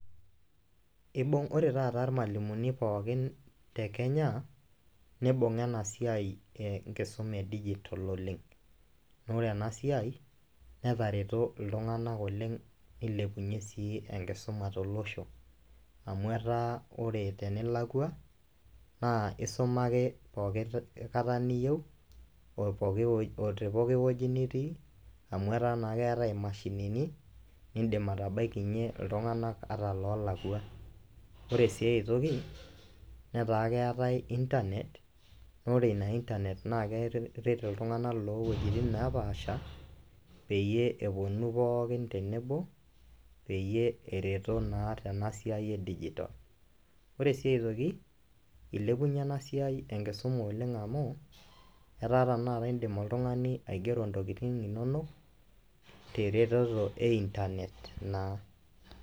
Ibung' ore taata irmalimuni pookin te kenya, nibung' a ena siai enkisuma e dijital oleng, naa ore ena siai netareto iltung'anak oleng' nelepunye sii enkisuma tolosho amu etaa kore tenilakua naa isuma ake pooki kata niyeu o poki o te poki woji nitii amu ketaa naa keetai imashinini niindim atabaikinye iltung'anak ata loolakua. Ore sii ai toki netaa keetai intanet, naa ore ina intanet naake eret iltung'anak loo wuejitin neepaasha peyie eponu pookin tenebo peyie ereto naa tena siai e dijitol. Ore sii aitoki, ilepunye ena siai enkisuma oleng' amu etaa tenakata iindim oltung'ani aigero ntokitin inonok te retoto e intanet naa.